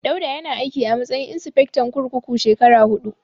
Dauda yana aiki a matsayin insifectan kurkuku shekara huɗu.